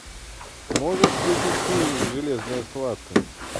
можешь включить фильмик железная схватка